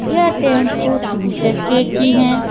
यह टेम्पू तीन चक्के की हैं।